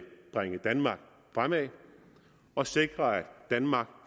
bringe danmark fremad og sikre at danmark